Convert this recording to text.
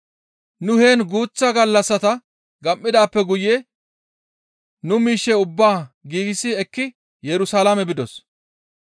Nu heen guuththa gallassata gam7idaappe guye nu miishshe ubbaa giigsi ekkidi Yerusalaame bidos.